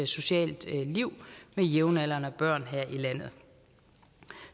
socialt liv med jævnaldrende børn her i landet